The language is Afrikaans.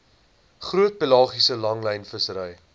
groot pelagiese langlynvissery